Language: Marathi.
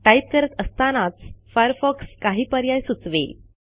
टाईप करत असतानाच फायरफॉक्स काही पर्याय सुचवेल